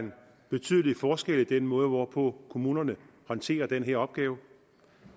betydelig forskel i den måde hvorpå kommunerne håndterer den her opgave